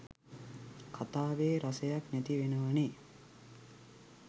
කතාවෙ රසයක් නැතිවෙනවනෙ.